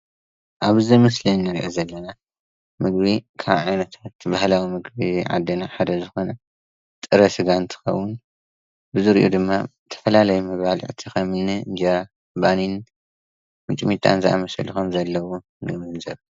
ኣብዚ ምስሊ እንርእዮ ዘለና ምግቢ ካብ ዓይነት ባህላዊ ምግቢ ዓድና ሓደ ዝኮነ ጥረ ስጋ እንትኮውን ብዝሪኡ ድማ ዝተፈላለየ መባልዕቲ ከምኒ እንጀራ፣ ባኒን ፣ምጥሚጣን ዝኣመሰሉ ከም ዘለውዎ ንግንዘበ።